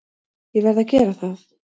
Ég verð að gera það.